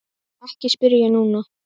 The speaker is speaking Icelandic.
Ekki spyrja núna!